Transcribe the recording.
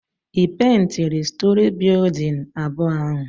ị pèintịrị stòrị bịyụdịn abụọ ahụ?